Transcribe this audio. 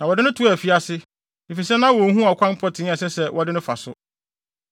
na wɔde no too afiase, efisɛ na wonhu ɔkwan pɔtee a ɛsɛ sɛ wɔde no fa so.